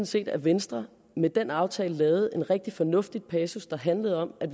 set at venstre med den aftale lavede en rigtig fornuftig passus der handlede om at